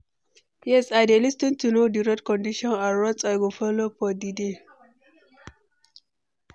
Yes, i dey lis ten to know di road condition and route i go follow for di day.